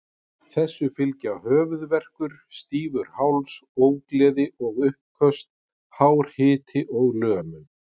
Þessu fylgja höfuðverkur, stífur háls, ógleði og uppköst, hár hiti og lömun.